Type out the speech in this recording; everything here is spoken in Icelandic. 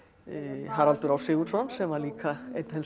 Haraldur á Sigurðsson sem var líka einn helsti